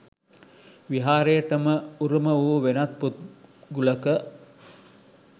විහාරයටම උරුම වූ වෙනත් පොත් ගුලක